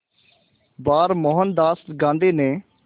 बार मोहनदास गांधी ने